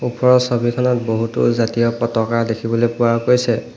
ওপৰৰ ছবিখনত বহুতো জাতীয় পতাকা দেখিবলৈ পোৱা গৈছে।